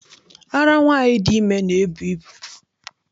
Ara nwaanyị dị ime na-ebu ibu.